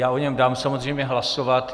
Já o něm dám samozřejmě hlasovat.